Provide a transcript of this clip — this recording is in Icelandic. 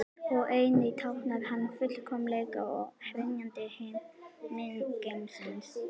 Og einnig táknar hann fullkomleika og hrynjandi himingeimsins.